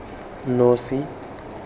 nosi